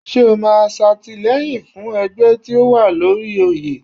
Ṣé o máa ṣàtìlẹ́yìn fún ẹgbẹ́ tí ó wà lóri oyè?